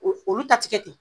O olu ta ti kɛ ten.